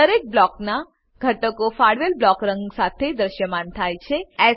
દરેક બ્લોક નાં ઘટકો ફાળવેલ બ્લોક રંગ સાથે દ્રશ્યમાન થાય છે